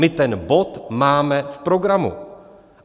My ten bod máme v programu.